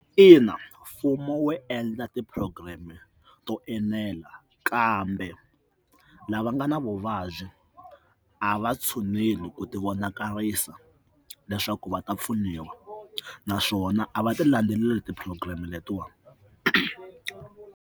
Ina, mfumo wo endla ti-program to enela kambe lava nga na vuvabyi a va tshuneli ku ti vonakarisa leswaku va ta pfuniwa naswona a va ti landzelela ti-program letiwani.